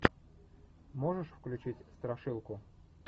можешь включить страшилку